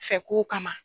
Fɛ kow kama